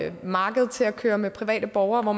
et marked til at køre med private borgere